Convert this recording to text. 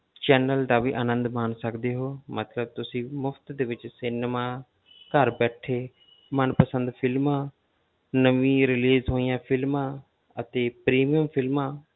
Channel ਦਾ ਵੀ ਅਨੰਦ ਮਾਣ ਸਕਦੇ ਹੋ, ਮਤਲਬ ਤੁਸੀਂ ਮੁਫ਼ਤ ਦੇ ਵਿੱਚ cinema ਘਰ ਬੈਠੇ ਮਨ ਪਸੰਦ films ਨਵੀਂ release ਹੋਈਆਂ films ਅਤੇ premium films